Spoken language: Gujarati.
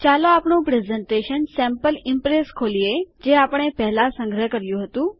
ચાલો આપણું પ્રેઝન્ટેશન sample ઇમ્પ્રેસ ખોલીએ જે આપણે પહેલાં સંગ્રહ કર્યું હતું